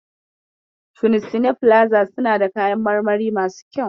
Shunsine filaza suna da kayan marmari masu kyau.